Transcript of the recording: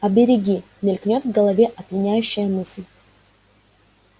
а береги мелькнеё в голове опьяняющая мысль